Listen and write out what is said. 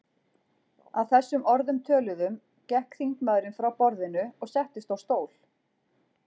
Að þessum orðum töluðum gekk þingmaðurinn frá borðinu og settist á stól.